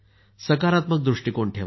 सकारात्मक दृष्टीकोन ठेवा